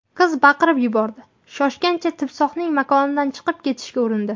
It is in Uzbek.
Qiz baqirib yuborib, shoshgancha timsohning makonidan chiqib ketishga urindi.